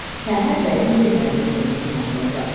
Səhər bəzi yerlərdə zəif duman olacaq.